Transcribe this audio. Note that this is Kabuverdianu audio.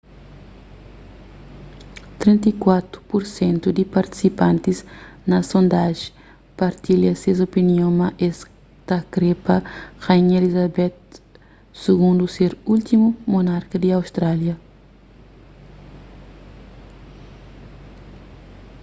34 pur sentu di partisipantis na sondajen partilha ses opinion ma es ta kre pa rainha elizabeth ii ser últimu monarka di austrália